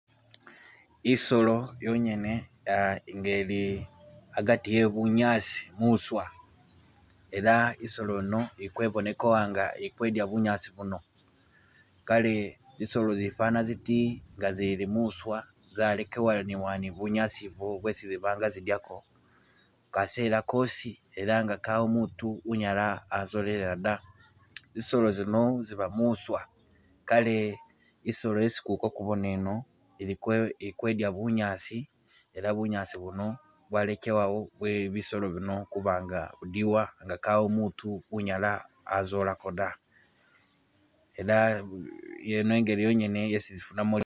Isolo yonyene ah- nga ili agati ebunyaasi muswa, ela isolo yino i kwebonekewa nga i kudya bunyaasi buno, kale zisolo zifana ziti nga zili muswa zalekelewela ni bunyaasi ibu bwesi ziba nga zidyako kasela kosi era nga kawo mutu unyala wazilolelela da, zisolo zino ziba mwiswa kale isolo yesi kuli kakubona eno iliko- iliko idya bunyaasi ela bunyaasi buno bwalekewawo bwe bisolo bino kuba nga budiwa nga kawo mutu unyala azolako da, ela yeno ingeli yonyene yesi zifunamo ......